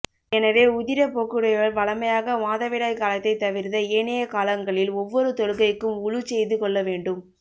எனவே உதிரப்போக்குடையவள் வழமையாக மாதவிடாய் காலத்தை தவிர்ந்த ஏனைய காலங்களில் ஒவ்வொரு தொழுகைக்கும் உளுச் செய்து கொள்ளவேண்டும்